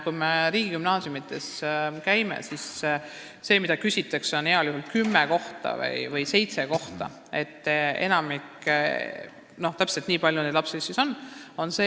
Kui me riigigümnaasiumides käime, siis küsitakse heal juhul kümmet või seitset kohta, ei teata täpselt, kui palju neid lapsi siis on.